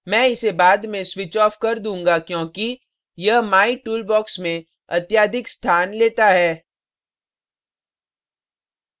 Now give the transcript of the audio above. मैं इसे बाद में switch off कर दूंगा क्योंकि यह my tool box में अत्यधिक स्थान लेता है